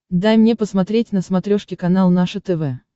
дай мне посмотреть на смотрешке канал наше тв